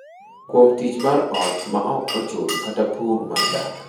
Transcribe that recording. Kuom tich mar ot ma ok ochul kata pur mar dak.